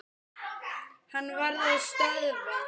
Hann varð að stöðva.